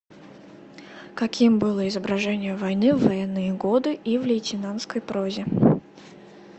каким было изображение войны в военные годы и в лейтенантской прозе